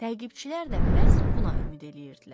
Təqibçilər də məhz buna ümid eləyirdilər.